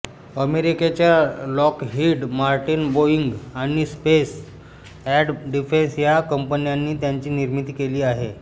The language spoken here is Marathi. अमेरिकेच्या लॉकहीड मार्टिन बोईंग आणि स्पेस एंड डिफेन्स या कंपन्यांनी याची निर्मिती केली आहे